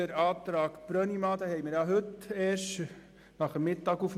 Den Antrag Brönnimann haben wir erst heute nach dem Mittag erhalten.